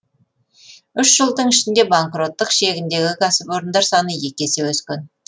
үш жылдың ішінде банкроттық шегіндегі кәсіпорындар саны есе өскен